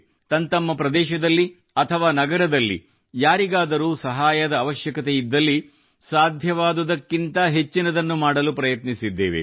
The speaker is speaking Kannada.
ತಂತಮ್ಮ ಪ್ರದೇಶದಲ್ಲಿ ಅಥವಾ ನಗರದಲ್ಲಿ ಯಾರಿಗಾದರೂ ಸಹಾಯದ ಅವಶ್ಯಕತೆ ಇದ್ದಲ್ಲಿ ಸಾಧ್ಯವಾದುದಕ್ಕಿಂತ ಹೆಚ್ಚಿನದನ್ನು ಮಾಡಲು ಪ್ರಯತ್ನಿಸಿದ್ದೇವೆ